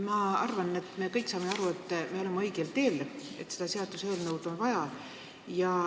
Ma arvan, et me kõik saame aru, et me oleme õigel teel – seda seaduseelnõu on vaja.